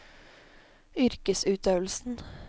yrkesutøvelsen